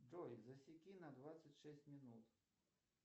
джой засеки на двадцать шесть минут